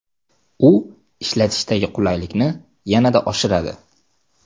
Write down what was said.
U ishlatishdagi qulaylikni yanada oshiradi.